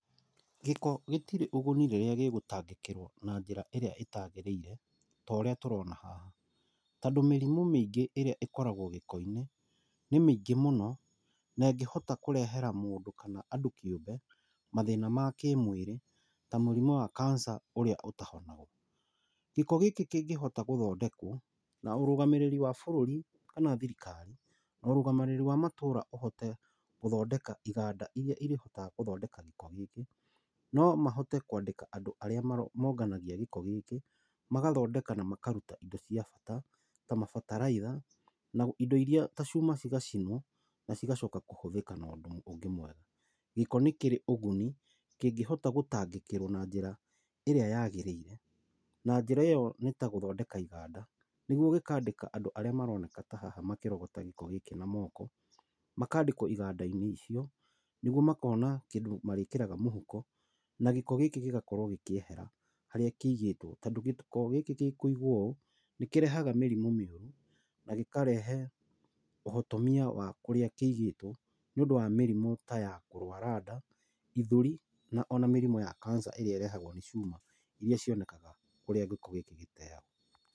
Gĩko gĩtirĩ ũguni rĩrĩa gĩgũtangĩkĩrwo na njĩra ĩrĩa ĩtagĩrĩire ta ũrĩa tũrona haha tonddũ mĩrimũ mĩngĩ ĩrĩa ĩkoragwo gĩko-inĩ nĩ mĩingĩ mũno na ĩngíĩhota kũrehera mũndũ kana andũ kĩũmbe mathĩna ma kĩmwĩrĩ ta mũrimũ wa Cancer ũrĩa ũtahonagwo. Gĩko gĩkĩ kĩngĩhota gũthondekwo na ũrũgamĩrĩri wa bũrũri kana thirikari na ũrũgamĩrĩri ma matũra ũhote gũthondeka iganda iria ĩrĩhotaga gũthondeka gĩko gĩkĩ no mahote kwandĩka andũ arĩa monganagia gĩko gĩkĩ magathondeka na makaruta indo cia bata ta mabataraitha na indo iria cia bata ta macuma cigacinwo na ciagcoka kũhũthĩka na ũndũ ũngĩ mwega. Gĩko nĩ kĩrĩ ũguni kĩngĩhota gũtangĩkĩrwo na njĩra ĩrĩa yagĩrĩire na njĩra ĩyo nĩ ta gũthondeka iganda. Nĩguo ikandĩka andũ arĩa maroneka ta haha makĩrogota gĩko na moko makandĩkwo iganda-inĩ icio nĩguo makona kĩndũ marĩkĩraga mũhuko. Na giko gĩkĩ gĩgakorwo gĩkĩehera harĩa kĩigĩtwo. Tondũ gĩko gĩkũigwo ũũ nĩ kĩrehega mĩrimũ mĩingĩ na gĩkarehe ũhotomia wa kũrĩa kĩigĩtwo nĩ ũndũ wa mĩrimũ ta ya kũrwara nda, gĩthũri, na ona mĩrimũ ya cancer ĩrĩa ĩrehagwo nĩ cuma iria cionekaga kũrĩa gĩko gĩkĩ gĩteagwo.